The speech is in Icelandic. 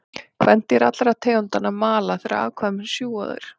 Kvendýr allra tegundanna mala þegar afkvæmin sjúga þær.